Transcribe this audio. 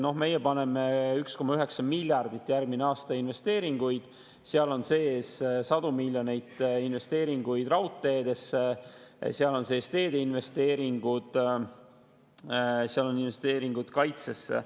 No meie teeme järgmisel aastal 1,9 miljardit investeeringuid, seal sees on sadu miljoneid investeeringuid raudteedesse, seal sees on teede investeeringud, seal on investeeringud kaitsesse.